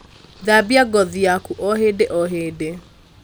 thambia ngothi yaku o hĩndĩ o hĩndĩ